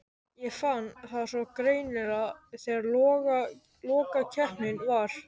Ég fann það svo greinilega þegar lokakeppnin var.